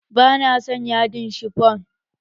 Ba na son yadin cifon